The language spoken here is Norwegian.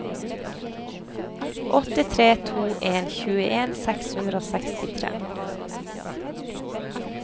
åtte tre to en tjueen seks hundre og sekstitre